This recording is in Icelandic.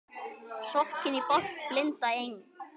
Sokkinn í bálk blinda Eng